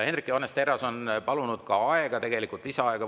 Hendrik Johannes Terras on palunud võimaluse korral lisaaega.